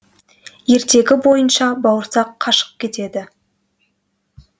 ертегі бойынша бауырсақ қашып кетеді